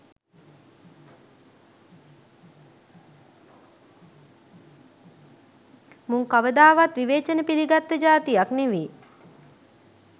මුං කවදාවත් විවේචන පිළිගත්ත ජාතියක් නෙවි.